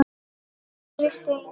Kæri Steini.